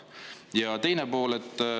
Ja teine pool.